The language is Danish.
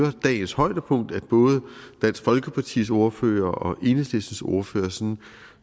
er dagens højdepunkt at både dansk folkepartis ordfører og enhedslistens ordfører sådan